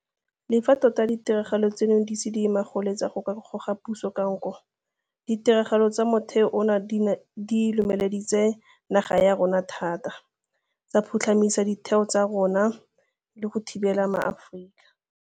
Le fa tota ditiragalo tseno di ise di ye magoletsa go ka goga puso ka nko, ditiragalo tsa mothale ono di lomele ditse naga ya rona thata, tsa phutlhamisa ditheo tsa rona le go thibela maAforika.